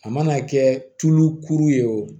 A mana kɛ tulu kuru ye o